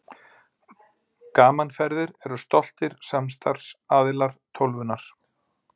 Gaman Ferðir eru stoltir samstarfsaðilar Tólfunnar.